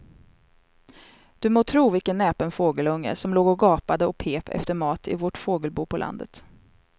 Du må tro vilken näpen fågelunge som låg och gapade och pep efter mat i vårt fågelbo på landet.